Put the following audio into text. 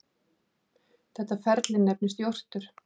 Þetta ferli nefnist jórtur.